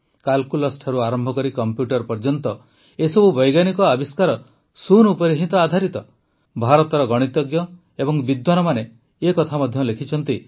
କାଲକୁଲେଟରରୁ ଆରମ୍ଭ କରି କମ୍ପ୍ୟୁଟର ଯାଏଁ ଏସବୁ ବୈଜ୍ଞାନିକ ଆବିଷ୍କାର ଶୂନ ଉପରେ ହିଁ ତ ଆଧାରିତ ଭାରତର ଗଣିତଜ୍ଞ ଓ ବିଦ୍ୱାନମାନେ ଏ କଥା ମଧ୍ୟ ଲେଖିଛନ୍ତି ଯେ